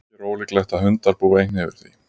ekki er ólíklegt að hundar búi einnig yfir því